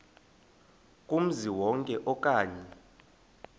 kumzi wonke okanye